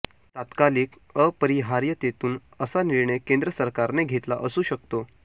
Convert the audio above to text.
तात्कालिक अपरिहार्यतेतून असा निर्णय केंद्र सरकारने घेतला असू शकतो